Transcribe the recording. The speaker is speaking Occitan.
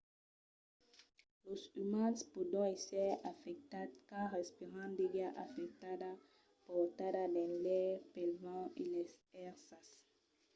los umans pòdon èsser afectats quand respiran d'aiga afectada portada dins l'aire pel vent e las èrsas